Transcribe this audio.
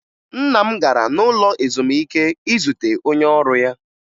Nna m gara n'ụlọ ezumike izute onye ọrụ ya